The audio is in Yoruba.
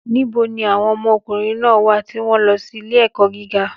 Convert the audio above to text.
Níbo ni àwọn ọmọ ọkùnrin náà wà tí wọ́n ń lọ sí ilé-ẹ̀kọ́ gíga?